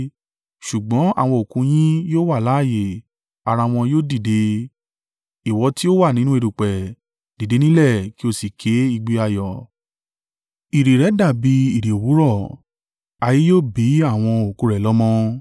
Ṣùgbọ́n àwọn òkú yín yóò wà láààyè ara wọn yóò dìde. Ìwọ tí o wà nínú erùpẹ̀, dìde nílẹ̀ kí o sì ké igbe ayọ̀. Ìrì rẹ dàbí ìrì òwúrọ̀, ayé yóò bí àwọn òkú rẹ̀ lọ́mọ.